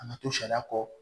A na to sariya kɔ